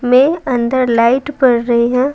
में अंदर लाइट पड़ रही है।